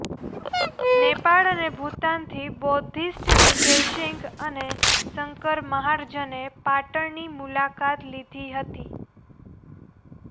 નેપાળ અને ભૂતાનથી બૌદ્ધિસ્ટ વિજય સિંઘ અને શંકર મહાર્જને પાટણની મુલાકાત લીધી હતી